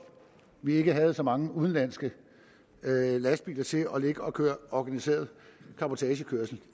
vi havde så mange udenlandske lastbiler til at ligge og køre organiseret cabotagekørsel